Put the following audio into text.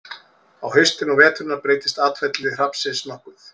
á haustin og veturna breytist atferli hrafnsins nokkuð